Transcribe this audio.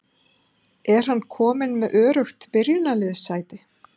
Er hann kominn með öruggt byrjunarliðssæti?